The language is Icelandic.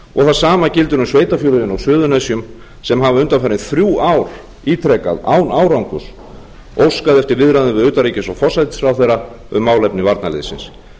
og það sama gildir um sveitarfélögin á suðurnesjum sem hafa undanfarin þrjú ár ítrekað án árangurs óskað eftir viðræðum við utanríkis og forsætisráðherra um málefni varnarliðsins